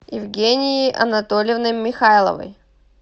евгенией анатольевной михайловой